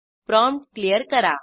prompt clear करा